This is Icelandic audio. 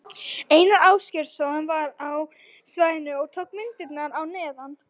Einar Ásgeirsson var á svæðinu og tók myndirnar að neðan.